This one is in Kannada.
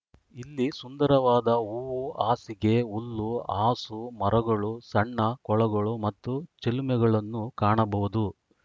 ಇಲ್ಲಿ ಸುಂದರವಾದ ಹೂ ಹಾಸಿಗೆ ಹುಲ್ಲು ಹಾಸು ಮರಗಳು ಸಣ್ಣ ಕೊಳಗಳು ಮತ್ತು ಚಿಲುಮೆಗಳನ್ನು ಕಾಣಬಹುದು